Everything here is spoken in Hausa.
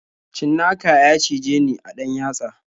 Cinnaka ya cijeni a ɗan yatsa.